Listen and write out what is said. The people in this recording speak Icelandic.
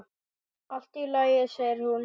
Allt í lagi, segir hún.